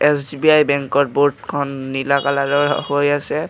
SBI বেংকৰ বোৰ্ডখন নীলা কালাৰৰ হৈ আছে।